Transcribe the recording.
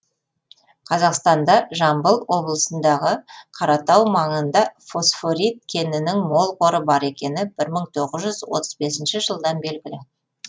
қазақстанда жамбыл облысындағы қаратау маңында фосфорит кенінің мол қоры бар екені мың тоғыз жүз отыз бесінші жылдан белгілі